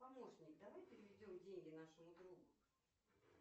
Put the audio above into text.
помощник давай переведем деньги нашему другу